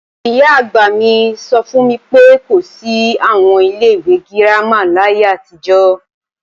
Ìyá-àgbà mi sọ fún mi pé, kò sí àwọn ilé ìwé girama láyé àtijọ́